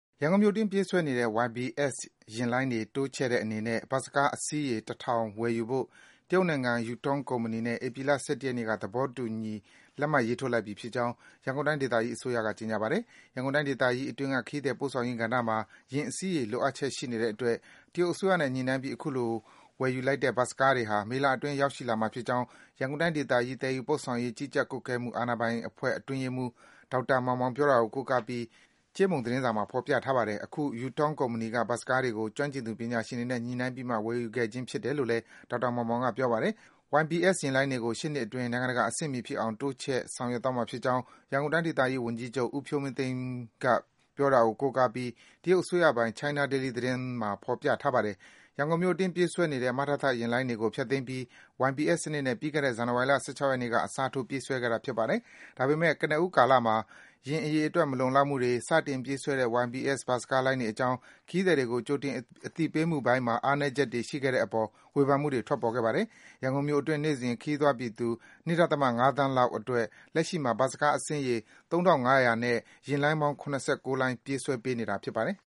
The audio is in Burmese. ရန်ကုန်မြို့အတွင်း ပြေးဆွဲနေတဲ့ YBS ယာဉ်လိုင်းတွေ တိုးချဲ့တဲ့အနေနဲ့ ဘတ်စ်ကား အစီးရေ ၁,၀၀၀ ဝယ်ယူဖို့ တရုတ်နိုင်ငံ Yutong ကုမ္ပဏီနဲ့ ဧပြီလ ၁၁ ရက်နေ့က သဘောတူ လက်မှတ် ရေးထိုးလိုက်ပြီဖြစ်ကြောင်း ရန်ကုန်တိုင်း ဒေသကြီး အစိုးရက ကြေညာပါတယ်။ ရန်ကုန်တိုင်းဒေသကြီးအတွင်းက ခရီးသည် ပို့ဆောင်ရေးကဏ္ဍမှာ ယာဉ်အစီးရေ လိုအပ်ချက်ရှိနေတဲ့အတွက် တရုတ်အစိုးရနဲ့ ညှိနှိုင်းပြီး အခုလို ဝယ်ယူလိုက်တဲ့ ဘတ်စ်ကားတွေဟာ မေလအတွင်း ရောက်ရှိလာမှာဖြစ်ကြောင်း ရန်ကုန်တိုင်းဒေသကြီး သယ်ယူပို့ဆောင်ရေး ကြီးကြပ်ကွပ်ကဲမှု အာဏာပိုင်အဖွဲ့ အတွင်းရေးမှူး ဒေါက်တာ မောင်မောင်ပြောတာကို ကိုးကားပြီး ကြေးမုံသတင်းစာမှာ ဖော်ပြထားပါတယ်။ အခု Yutong ကုမ္ပဏီက ဘတ်စ်ကားတွေကို ကျွမ်းကျင်သူ ပညာရှင်တွေနဲ့ ညှိနှိုင်းပြီးမှ ဝယ်ယူခဲ့ခြင်းဖြစ်တယ်လို့လည်း ဒေါက်တာ မောင်မောင်က ပြောပါတယ်။ YBS ယာဉ်လိုင်းတွေကို ရှေ့နှစ်အတွင်း နိုင်ငံတကာ အဆင့်မှီဖြစ်အောင် တိုးမြင့် ဆောင်ရွက်သွားမှာဖြစ်ကြောင်း ရန်ကုန်တိုင်းဒေသကြီး ဝန်ကြီးချုပ် ဦးဖြိုးမင်းသိန်းက ပြောကြောင်းလည်း တရုတ်အစိုးရပိုင် China Daily သတင်းမှာ ဖော်ပြထားပါတယ်။ ရန်ကုန်မြို့အတွင်း ပြေးဆွဲနေတဲ့ မထသ ယာဉ်လိုင်းတွေကို ဖျက်သိမ်းပြီး YBS စနစ်နဲ့ ပြီးခဲ့တဲ့ ဇန်နဝါရီလ ၁၆ ရက်နေ့က အစားထိုး ပြေးဆွဲခဲ့တာ ဖြစ်ပါတယ်။ ဒါပေမယ့် ကနဦးကလာမှာ ယာဉ်အရေအတွက် မလုံလောက်မှုတွေ၊ စတင်ပြေးဆွဲတဲ့ YBS ဘတ်စ်ကားလိုင်းတွေအကြောင်း ခရီးသည်တွေကို ကြိုတင် အသိပေးမှုပိုင်းမှာ အားနည်းချက်တွေ ရှိခဲ့တဲ့အပေါ် ဝေဖန်မှုတွေ ထွက်ပေါ်ခဲ့ပါတယ်။ ရန်ကုန်မြို့အတွင်း နေ့စဉ် ခရီးသွားပြည်သူ ၂.၅ သန်းလောက်အတွက် လက်ရှိမှာ ဘတ်စ်ကား အစီးရေ ၃,၅၀၀ နဲ့ ယာဉ်လိုင်းပေါင်း ၇၉ လိုင်း ပြေးဆွဲပေးနေတာ ဖြစ်ပါတယ်။